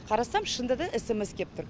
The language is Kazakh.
қарасам шынында да эсэмэс кеп тұр